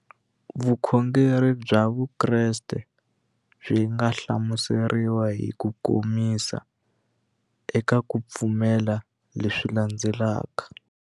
Vukhongeri bya Vukreste byi nga hlamuseriwa hi kukomisa eka ku pfumela leswi landzelaka.